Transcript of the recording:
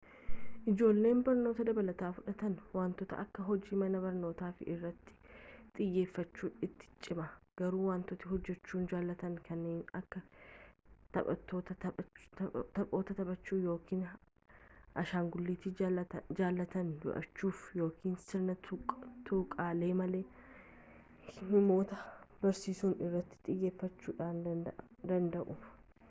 ijoolleen barnoota dabalataa fudhatan wantoota akka hojii mana barnootafa irratti xiyyeeffachuun itti cima garuu wantoota hojjechuu jaallatan kanneen akka taphoota taphachuu yookiin ashangulliitii jaallatan do'achuu yookiin sirna tuqaalee malee himoota barreessuu irratti xiyyeeffachuu danda'u